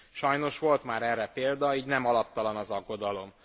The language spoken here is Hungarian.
Sajnos volt már erre példa, így nem alaptalan az aggodalom.